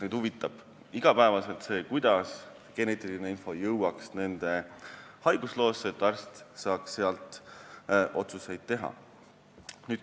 Neid huvitab enamasti see, kuidas jõuaks geneetiline info nende haigusloosse, et arst saaks selle põhjal otsuseid teha.